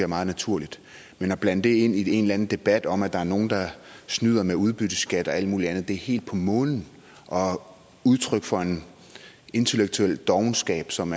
meget naturligt men at blande det ind i en eller anden debat om at der er nogle der snyder med udbytteskat og alt mulig andet er helt på månen og udtryk for en intellektuel dovenskab som